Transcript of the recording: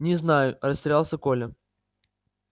не знаю растерялся коля